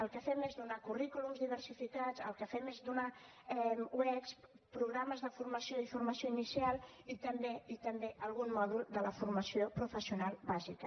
el que fem és donar currículums diversificats el que fem és donar uec programes de formació i formació inicial i també i també algun mòdul de la formació professional bàsica